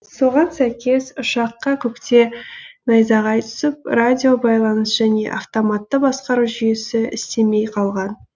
соған сәйкес ұшаққа көкте найзағай түсіп радиобайланыс және автоматты басқару жүйесі істемей қалған